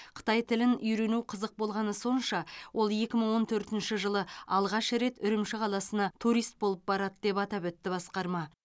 қытай тілін үйрену қызық болғаны сонша ол екі мың он төртінші жылы алғаш рет үрімші қаласына турист болып барады деп атап өтті басқарма